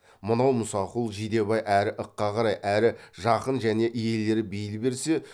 мынау мұсақұл жидебай әрі ыққа қарай әрі жақын және иелері бейіл берсе